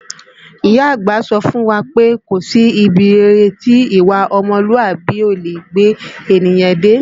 Ìyá àgbà sọ fún wa pé kò sí ibi rere tí ìwà ọmọlúàbí kò leè gbé ènìyàn dé